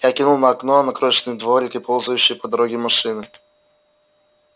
я кивнул на окно на крошечный дворик и ползущие по дороге машины